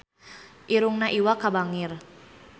Irungna Iwa K bangir